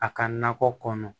A ka nakɔ kɔnɔ